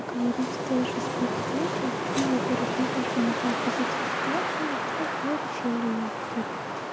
говорив даже с подругой я во-первых никак не могла отразить эту ситуацию во-вторых мы решили как